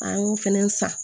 An y'o fɛnɛ san